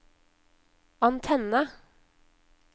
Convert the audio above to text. antenne